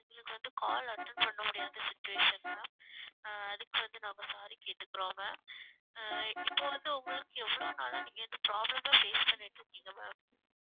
எங்களுக்கு வந்து call attend பண்ண முடியாத situation ma'am ஆஹ் அதுக்கு வந்து நாங்க sorry கேட்டுக்குறோம் ma'am ஆஹ் இப்ப வந்து உங்களுக்கு எவ்வளவு நாளா நீங்க இந்த problem ஆ face பண்ணிட்டு இருக்கீங்க ma'am